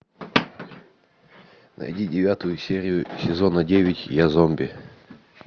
найди девятую серию сезона девять я зомби